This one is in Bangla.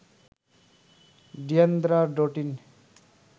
ডিয়ান্দ্রা ডোটিন